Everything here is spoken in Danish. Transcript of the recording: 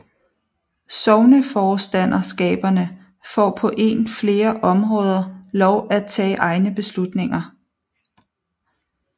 Sogneforstanderskaberne får på en flere områder lov at tage egne beslutninger